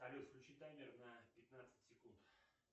салют включи таймер на пятнадцать секунд